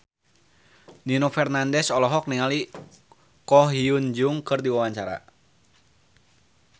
Nino Fernandez olohok ningali Ko Hyun Jung keur diwawancara